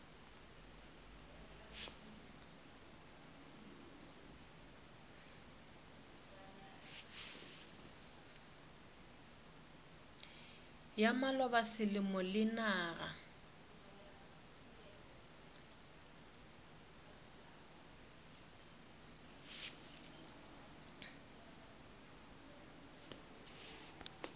ya maloba selemo le naga